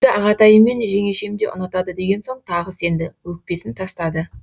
ағатайым мен жеңешем де ұнатады деген соң тағы сенді өкпесін тастады